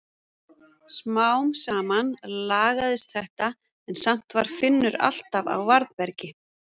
Smám saman lagaðist þetta en samt var Finnur alltaf á varðbergi.